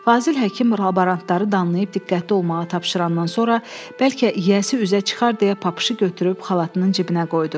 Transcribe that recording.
Fazil Həkim laborantları danlayıb diqqətli olmağı tapşırandan sonra bəlkə yiyəsi üzə çıxar deyə papışı götürüb xalatının cibinə qoydu.